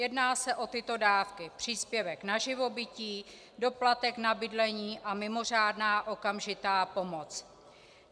Jedná se o tyto dávky: příspěvek na živobytí, doplatek na bydlení a mimořádná okamžitá pomoc.